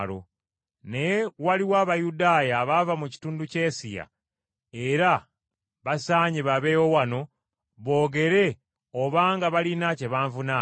Naye waliwo Abayudaaya abava mu kitundu kye Asiya era basaanye babeewo wano boogere obanga balina kye banvunaana.